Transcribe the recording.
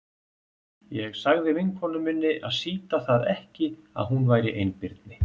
Ég sagði vinkonu minni að sýta það ekki að hún væri einbirni.